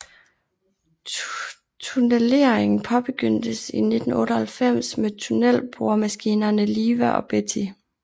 Tunneleringen påbegyndtes i 1998 med tunnelboremaskinerne Liva og Betty